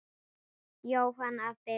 Jóhann: Af Birnu?